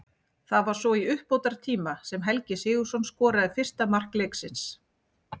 Það var svo í uppbótartíma sem Helgi Sigurðsson skoraði fyrsta mark leiksins.